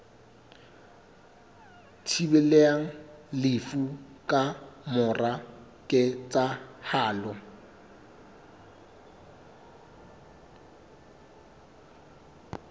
thibelang lefu ka mora ketsahalo